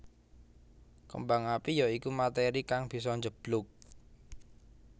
Kembang api ya iku materi kang bisa njeblug